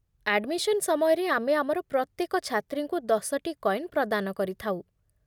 Admission ସମୟରେ ଆମେ ଆମର ପ୍ରତ୍ୟେକ ଛାତ୍ରୀଙ୍କୁ ଦଶଟି କଏନ୍ ପ୍ରଦାନ କରିଥାଉ।